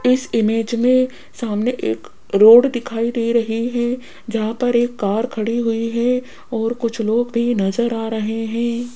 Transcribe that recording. इस इमेज में सामने एक रोड दिखाई दे रही है जहां पर एक कार खड़ी हुई है और कुछ लोग भी नजर आ रहे है।